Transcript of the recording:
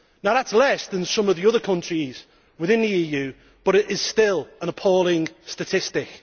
That is less than some of the other countries within the EU, but it is still an appalling statistic.